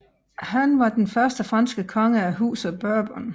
Han var den første franske konge af Huset Bourbon